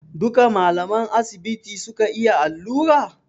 Duka malaman asibiti suka iya allura?